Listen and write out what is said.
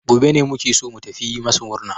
Gobe ne muke so mu tafi mu yi masu murna.